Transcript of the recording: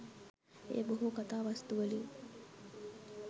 එය බොහෝ කතා වස්තුවලින්